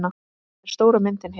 Þetta er stóra myndin hér.